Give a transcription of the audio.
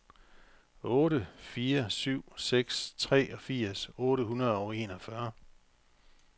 otte fire syv seks treogfirs otte hundrede og enogfyrre